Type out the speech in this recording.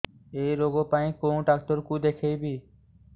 ଏଇ ରୋଗ ପାଇଁ କଉ ଡ଼ାକ୍ତର ଙ୍କୁ ଦେଖେଇବି